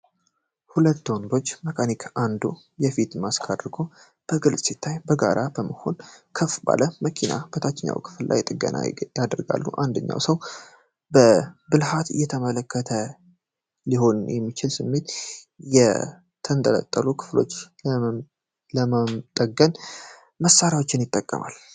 ሁለት ወንዶች መካኒኮች አንዱ የፊት ማስክ አድርጎ በግልጽ ሲታይ፤ በጋራ በመሆን ከፍ ባለ መኪና የታችኛው ክፍል ላይ ጥገና ያደርጋሉ። አንደኛው ሰው በብልሀት እየተመለከተ ሊሆን በሚችል ስሜት፤ የተንጠለጠሉትን ክፍሎች ለመጠገን መሳሪያዎችን ይጠቀማል።